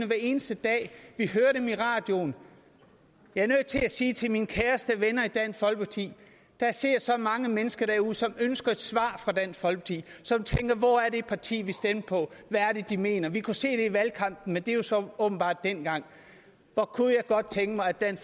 hver eneste dag vi hører dem i radioen jeg er nødt til at sige til mine kære venner i dansk folkeparti der sidder så mange mennesker derude som ønsker et svar fra dansk folkeparti som tænker hvor er det parti vi stemte på hvad er det de mener vi kunne se det i valgkampen men det var så åbenbart dengang hvor kunne jeg godt tænke mig at